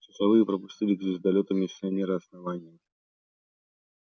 часовые пропустили к звездолёту миссионера основания